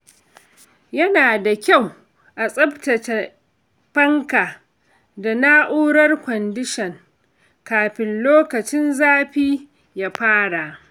Yana da kyau a tsaftace fanka da na’urar kwandishan kafin lokacin zafi ya fara.